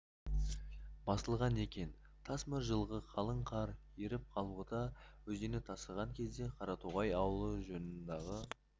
басылған екен тас мөр жылғы қалың қар еріп қалғұты өзені тасыған кезде қаратоғай ауылы жанындағы